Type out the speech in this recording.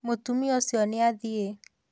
Mũtumia ũcio nĩ athiĩ